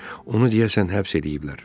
Onu deyəsən həbs eləyiblər.